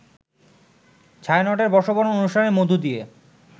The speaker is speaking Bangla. ছায়ানটের বর্ষবরণ অনুষ্ঠানের মধ্য দিয়ে